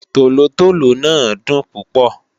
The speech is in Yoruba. Tólótóló náà dùn púpọ̀